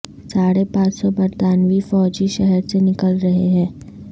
ساڑھے پانچ سو برطانوی فوجی شہر سے نکل رہے ہیں